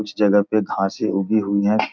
उस जगह पे घासे उगी हुई है।